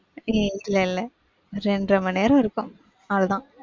இல்லல்ல. இரண்டரை மணி நேரம் இருக்கும், அவ்வளவுதான்.